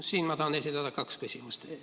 Siinkohal ma tahan esitada kaks küsimust.